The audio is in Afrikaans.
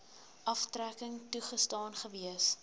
aftrekking toegestaan gewees